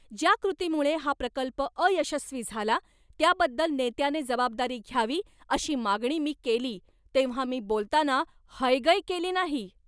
ज्या कृतीमुळे हा प्रकल्प अयशस्वी झाला, त्याबद्दल नेत्याने जबाबदारी घ्यावी, अशी मागणी मी केली तेव्हा मी बोलताना हयगय केली नाही.